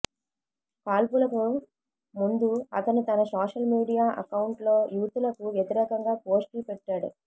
కాల్పులకు ముందు అతను తన సోషల్ మీడియా అకౌంట్లో యూతులకు వ్యతిరేకంగా పోస్టులు పెట్టాడు